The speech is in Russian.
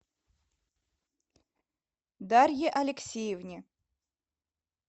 дарье алексеевне